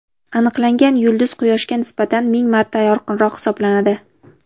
Aniqlangan yulduz Quyoshga nisbatan ming marta yorqinroq hisoblanadi.